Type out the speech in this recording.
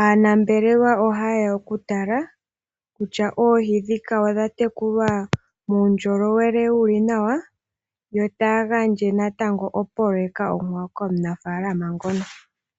aanambelewa ohaye ya okutala kutya oohi dhoka odha tekulwa muundjolowele wu li nawa. Yo taya gandja natango opoloeka onkwawo komu naf alama ngono.